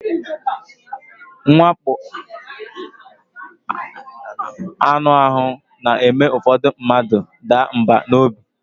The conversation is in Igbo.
Mwakpọ anụ ahụ na-eme ụfọdụ mmadụ a daa mbà n'obi.